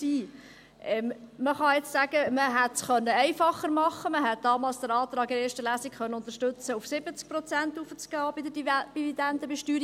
Man kann nun sagen, man hätte es einfacher machen können, man hätte damals in der ersten Lesung den Antrag unterstützen können, bei der Dividendenbesteuerung auf 70 Prozent raufzugehen.